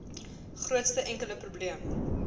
grootste enkele probleem